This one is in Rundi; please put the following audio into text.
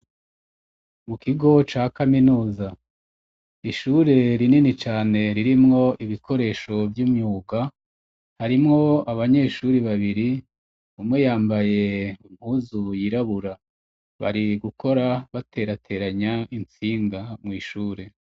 Mu kigo ca kaminuza ishure rinini cane ririmwo ibikoresho vy'umyuga harimwo abanyeshuri babiri umwe yambaye umuzu yirabura bari gukora baterateranya impfinga mw'ishure.